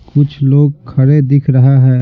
कुछ लोग खड़े दिख रहा है।